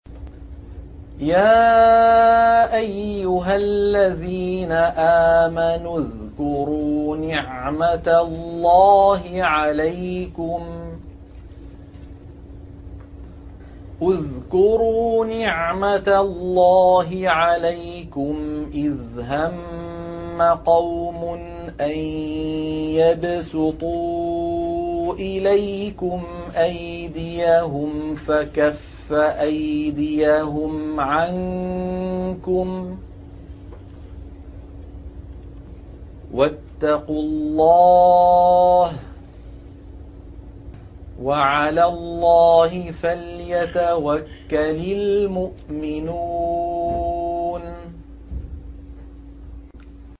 يَا أَيُّهَا الَّذِينَ آمَنُوا اذْكُرُوا نِعْمَتَ اللَّهِ عَلَيْكُمْ إِذْ هَمَّ قَوْمٌ أَن يَبْسُطُوا إِلَيْكُمْ أَيْدِيَهُمْ فَكَفَّ أَيْدِيَهُمْ عَنكُمْ ۖ وَاتَّقُوا اللَّهَ ۚ وَعَلَى اللَّهِ فَلْيَتَوَكَّلِ الْمُؤْمِنُونَ